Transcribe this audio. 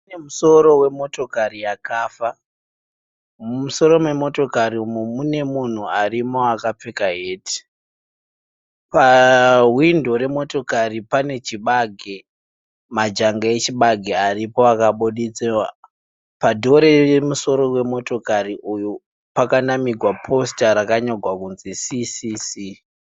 Pane musoro wemotokari yakafa. Mumusoro memotokari umu mune munhu arimo akapfeka heti. Pahwindo remotokari pane chibage, majanga echibage aripo akabuditsiwa. Padhowo remusoro wemotokari uyu pakanamigwa posita rakanyogwa kunzi CCC.